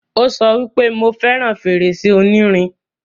Ó sọ wípé, 'Mo fẹràn fèrèsé onírin'